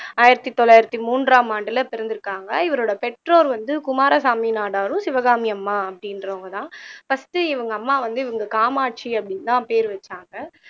ஆயிரத்தி தொள்ளாயிரத்து மூன்றாம் ஆண்டுல பிறந்துருக்காங்க இவரோட பெற்றோர் வந்து குமாரசாமி நாடாரும் சிவகாமி அம்மா அப்படின்றவங்கதான் first இவங்க அம்மா வந்து இவங்க காமாட்சி அப்படின்னுதான் பேர் வச்சாங்க